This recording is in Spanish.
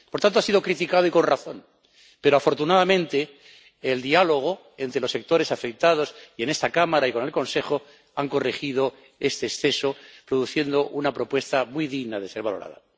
Por tanto, ha sido criticada y con razón, pero, afortunadamente, el diálogo entre los sectores afectados y en esta Cámara y con el Consejo ha corregido este exceso, produciendo una propuesta muy digna de ser valorada.